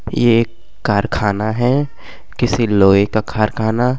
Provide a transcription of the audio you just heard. ये एक कारखाना है किसी लोहें का खारकाना --